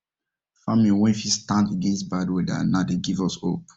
farming wen fit stand against bad weather na dey give us hope